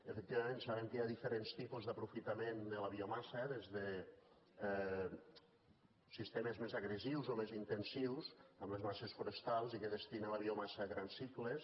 efectivament sabem que hi ha diferents tipus d’aprofitament de la biomassa des de sistemes més agressius o més intensius amb les masses forestals i que destinen a la biomassa grans cicles